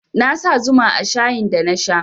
Na sa zuma a shayin da na sha